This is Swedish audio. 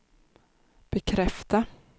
bekräfta